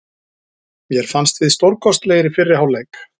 Mér fannst við stórkostlegir í fyrri hálfleik.